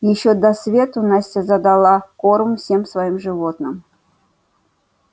ещё до свету настя задала корм всем своим животным